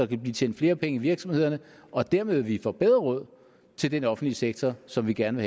kan blive tjent flere penge i virksomhederne og dermed vil vi få bedre råd til den offentlige sektor som vi gerne